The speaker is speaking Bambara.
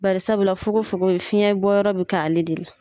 Barisabula fogo fogo fiyɛn bɔ yɔrɔ bɛ ka ale de la.